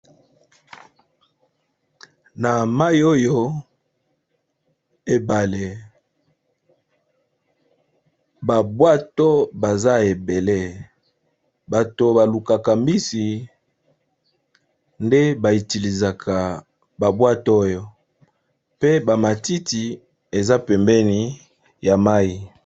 Na mai oyo ebale babwato baza ebele bato balukaka mbisi nde ba utiliser babwato oyo pe bamatiti eza pembeni ya mai.